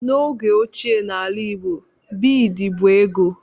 N'oge óchiè n'ala igbo, bịịd bụ ego.